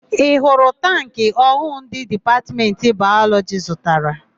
Ị hụrụ tankị ọhụụ ndị Dipatmentị Bayọlọjị zụtara?